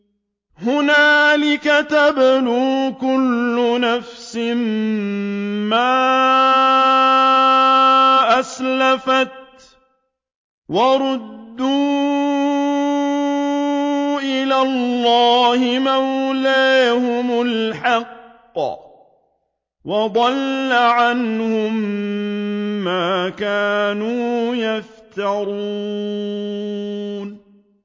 هُنَالِكَ تَبْلُو كُلُّ نَفْسٍ مَّا أَسْلَفَتْ ۚ وَرُدُّوا إِلَى اللَّهِ مَوْلَاهُمُ الْحَقِّ ۖ وَضَلَّ عَنْهُم مَّا كَانُوا يَفْتَرُونَ